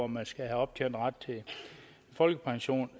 man skal have optjent ret til folkepension